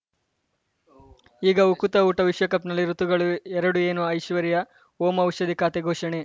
ಈಗ ಉಕುತ ಊಟ ವಿಶ್ವಕಪ್‌ನಲ್ಲಿ ಋತುಗಳು ಎರಡು ಏನು ಐಶ್ವರ್ಯಾ ಓಂ ಔಷಧಿ ಖಾತೆ ಘೋಷಣೆ